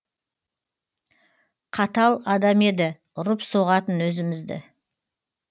қатал адам еді ұрып соғатын өзімізді